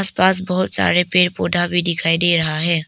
पास बहुत सारे पेड़ पौधा भी दिखाई दे रहा है।